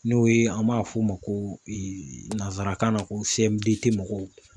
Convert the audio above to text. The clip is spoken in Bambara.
N'o ye an m'a f'o ma ko nanzarakan na ko seɛmudetemɔgɔw